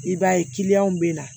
I b'a ye bɛ na